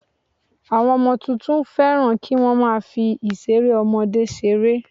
Àwọn ọmọ tuntun fẹ́ràn kí wọ́n má a fi ìseré ọmọdé seré